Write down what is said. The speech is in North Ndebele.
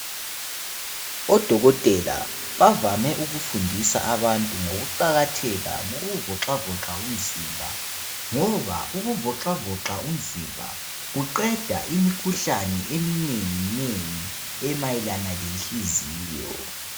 Odokotela bavame ukufundisa abantu ngokuzelula umzimba ngoba kuqeda imikhuhlane eminengi ephathelane lenhliziyo.